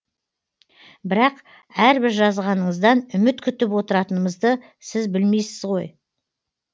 бірақ әрбір жазғаныңыздан үміт күтіп отыратынымды сіз білмейсіз ғой